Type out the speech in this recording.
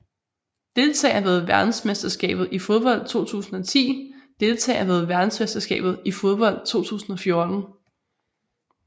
Deltagere ved verdensmesterskabet i fodbold 2010 Deltagere ved verdensmesterskabet i fodbold 2014